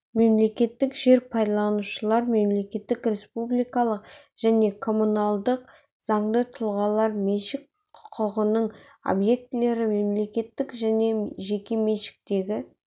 мемлекеттік жер пайдаланушылар мемлекеттік республикалық және коммуналдық заңды тұлғалар меншік құқығының объектілері мемлекеттік және жеке меншіктегі